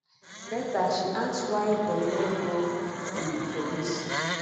later she ask why dem no go to di police